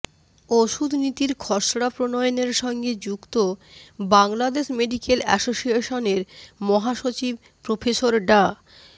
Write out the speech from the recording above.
ওষুধ নীতির খসড়া প্রণয়নের সঙ্গে যুক্ত বাংলাদেশ মেডিক্যাল অ্যাসোসিয়েশনের মহাসচিব প্রফেসর ডা